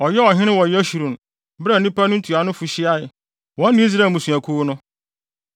Ɔyɛɛ ɔhene wɔ Yeshurun bere a nnipa no ntuanofo hyiae, wɔne Israel mmusuakuw no.